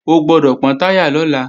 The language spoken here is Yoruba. O gbọ́dọ̀ pọ́n táyà lọ́la!